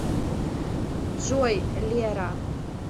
джой лера